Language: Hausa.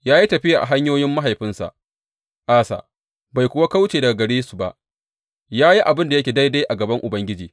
Ya yi tafiya a hanyoyin mahaifinsa Asa bai kuwa kauce daga gare su ba; ya yi abin da yake daidai a gaban Ubangiji.